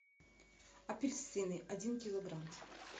апельсины один килограмм